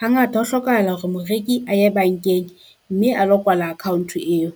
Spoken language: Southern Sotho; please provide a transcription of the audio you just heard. Hangata ho hlokahala hore moreki a ye bankeng mme a lo kwala account eo.